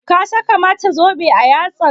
Ka saka mata zobe a yatsa?